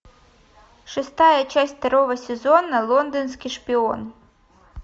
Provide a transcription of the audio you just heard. шестая часть второго сезона лондонский шпион